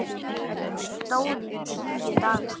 Hún stóð í tíu daga.